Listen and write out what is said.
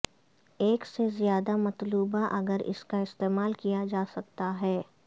ایک سے زیادہ مطلوبہ اگر اس کا استعمال کیا جا سکتا ہے